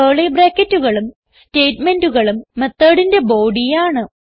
curly ബ്രാക്കറ്റുകളും സ്റ്റേറ്റ്മെന്റുകളും methodന്റെ ബോഡി ആണ്